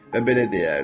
və belə deyərdi: